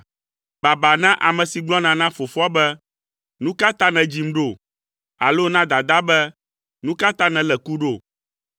Baba na ame si gblɔna na fofoa be, ‘Nu ka ta nèdzim ɖo?’ alo na dadaa be, ‘Nu ka ta nèlé ku ɖo?’